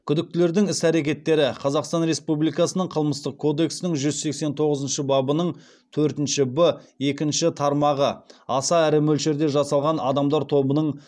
күдіктілердің іс әрекеттері қазақстан республикасының қылмыстық кодексінің жүз сексен тоғызыншы бабының төртінші б екінші тармағы аса ірі мөлшерде жасалған адамдар тобының